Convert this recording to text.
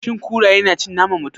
Shin kuraye na cin naman mutum?